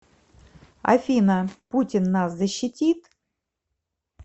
афина путин нас защитит